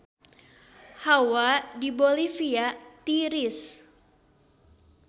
Hawa di Bolivia tiris